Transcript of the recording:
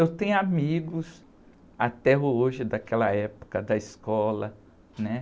Eu tenho amigos até hoje daquela época da escola, né?